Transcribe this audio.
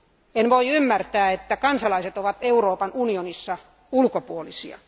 En voi ymmärtää, että kansalaiset ovat Euroopan unionissa ulkopuolisia.